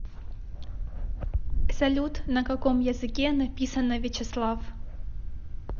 салют на каком языке написано вячеслав